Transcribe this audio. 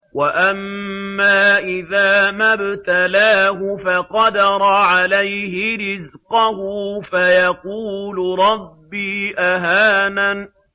وَأَمَّا إِذَا مَا ابْتَلَاهُ فَقَدَرَ عَلَيْهِ رِزْقَهُ فَيَقُولُ رَبِّي أَهَانَنِ